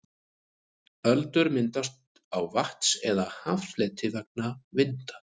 öldur myndast á vatns eða haffleti vegna vinda